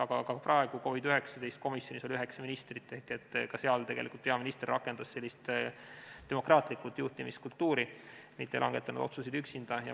Aga ka praegu oli COVID-19 komisjonis üheksa ministrit ehk ka seal tegelikult peaminister rakendas demokraatlikku juhtimiskultuuri, mitte ei langetanud otsuseid üksinda.